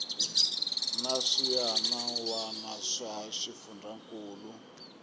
na swiana wana swa xifundzankuluwa